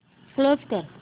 close कर